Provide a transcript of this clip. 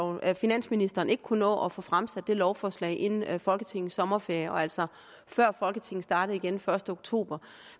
at finansministeren ikke kunne nå at få fremsat det lovforslag inden folketingets sommerferie og altså før folketinget startede igen den første oktober